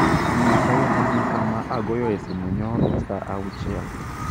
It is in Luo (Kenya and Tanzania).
nyisa yo madhi kama agoyoe simu nyoro saa auchiel